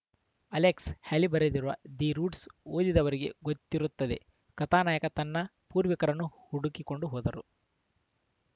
Alex Haley ಬರೆದಿರುವ the roots ಓದಿದವರಿಗೆ ಗೊತ್ತಿರುತ್ತದೆ ಕಥಾನಾಯಕ ತನ್ನ ಪೂರ್ವಿಕರನ್ನು ಹುಡುಕಿ ಕೊಂಡು ಹೋದಾರು